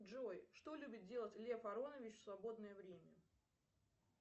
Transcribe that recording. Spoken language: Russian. джой что любит делать лев аронович в свободное время